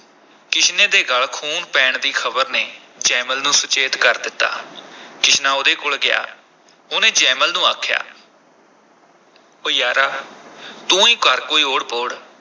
ਕਿਸ਼ਨੇ ਦੇ ਗਲ ਖੂਨ ਪੈਣ ਦੀ ਖ਼ਬਰ ਨੇ ਜੈਮਲ ਨੂੰ ਸੁਚੇਤ ਕਰ ਦਿੱਤਾ ਕਿਸ਼ਨਾ ਉਹਦੇ ਕੋਲ ਗਿਆ, ਉਹਨੇ ਜੈਮਲ ਨੂੰ ਆਖਿਆ ਉਹ ਯਾਰਾ ਤੂੰ ਹੀ ਕਰ ਕੋਈ ਓਹੜ ਪੋਹੜ।